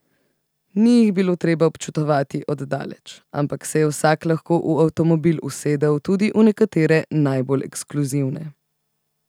Ni jih bilo treba občudovati od daleč, ampak se je vsak lahko v avtomobil usedel, tudi v nekatere najbolj ekskluzivne.